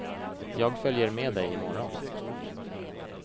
Jag följer med dig i morgon.